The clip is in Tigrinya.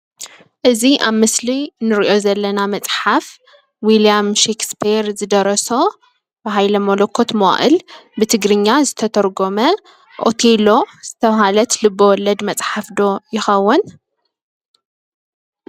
እዚ አብ ምስሊ እንሪኦ ዘለና መፅሓፍ ዊልያም ሺክስፔር ዝደረሶ ብሃይለ መለኮት መዋእል ብትግርኛ ዝተተርጎመ ኦቴሎ ዝተበሃለት ልበወለድ መፅሓፍ ዶ ይኸውን?